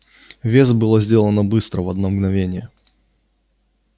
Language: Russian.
вес было сделано быстро в одно мгновение